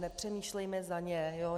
Nepřemýšlejme za ně.